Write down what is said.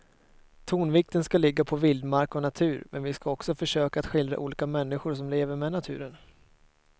Tonvikten ska ligga på vildmark och natur men vi ska också försöka att skildra olika människor som lever med naturen.